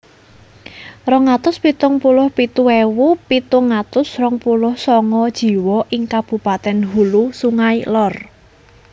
Rong atus pitung puluh pitu ewu pitung atus rong puluh sanga jiwa ing kabupatèn Hulu Sungai Lor